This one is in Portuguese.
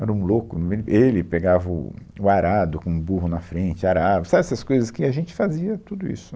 Era um louco, ele pegava o, o, arado com o burro na frente, arava, sabe, essas coisas que a gente fazia, tudo isso.